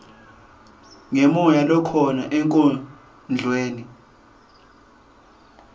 ngemoya lokhona enkondlweni